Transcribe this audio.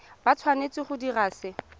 ba tshwanetse go dira se